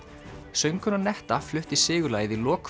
söngkonan netta flutti sigurlagið í lok